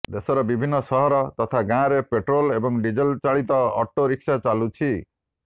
ଦେଶର ବିଭିନ୍ନ ସହର ତଥା ଗାଁରେ ପେଟ୍ରୋଲ୍ ଏବଂ ଡିଜେଲ୍ ଚାଳିତ ଅଟୋ ରିକ୍ସା ଚାଲୁଛି